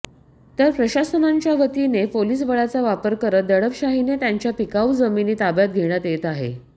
तर प्रशासनाच्यावतीने पोलीस बळाचा वापर करत दडपशाहीने त्यांच्या पिकाऊ जमिनी ताब्यात घेण्यात येत आहे